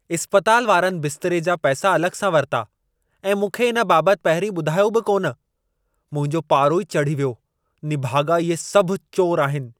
इस्पतालु वारनि बिस्तरे जा पैसा अलॻि सां वरिता ऐं मूंखे इन बाबति पहिरीं ॿुधायो बि कोन। मुंहिंजो पारो ई चढ़ी वियो। निभाॻा इहे सभु चोर आहिनि!